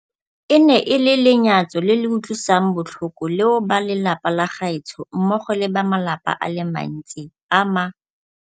E ne e le lenyatso le le utlwisang botlhoko leo ba lelapa la gaetsho mmogo le ba malapa a le mantsi a ma